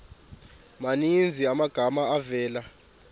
maninzi amagama avela